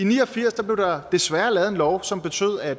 ni og firs blev der desværre lavet en lov som betød at